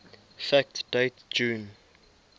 fact date june